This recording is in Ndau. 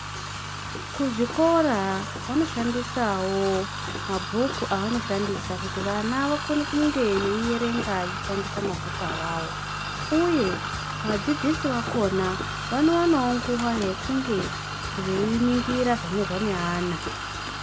Kuzvikora vanoshandisavo mabhuku avano shandisa kuti vana vakone kunge veiverenga vachishandisa mabhuku avavo, uye vadzidzisi vakona vanovanavo nguva yekunge veinongira zvanyorwa neana.